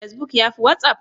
Facebook yafi watsapp?